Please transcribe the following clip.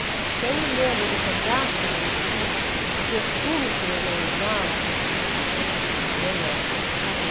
Então eu me lembro do regaço da minha mãe, o perfume que minha mãe usava, você vai achar um absurdo, Belódia do Caron.